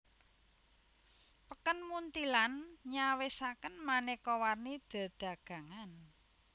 Peken Munthilan nyawisaken manéka warni dedagangan